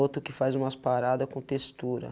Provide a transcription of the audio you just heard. Outro que faz umas paradas com textura.